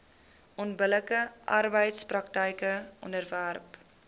onbillike arbeidspraktyke onderwerp